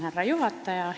Härra juhataja!